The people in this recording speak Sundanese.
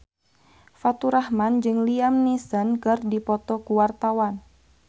Faturrahman jeung Liam Neeson keur dipoto ku wartawan